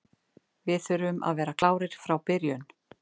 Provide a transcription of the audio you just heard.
Við þurfum að vera klárir frá byrjun.